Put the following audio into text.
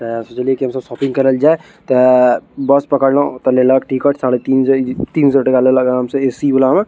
सोच ले की हम सब शॉपपिंग करे जाए ते बस पकड़ लो तने लक ठीक हो साढ़े तीन-तीन सो टका लेलग हमसे ए सी वला में --